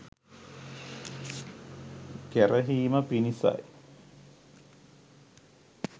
ගැරහීම පිණිසයි.